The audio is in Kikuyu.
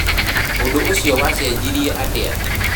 ũndũ ũcio wacenjirie atĩa?